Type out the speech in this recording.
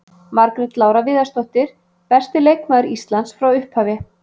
Margrét Lára Viðarsdóttir- Besti leikmaður Íslands frá upphafi.